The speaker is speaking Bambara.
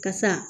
Kasa